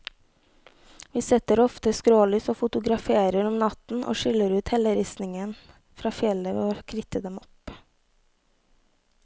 Vi setter ofte skrålys og fotograferer om natten, og skiller ut helleristningen fra fjellet ved å kritte dem opp.